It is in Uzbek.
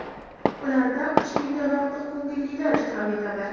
Ularda uch mingdan ortiq ko‘ngillilar ishtirok etadi.